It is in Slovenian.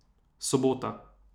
Sobota.